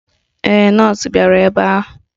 Ee, nọọsụ bịara ebe a.